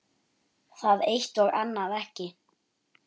Það eitt- og annað ekki.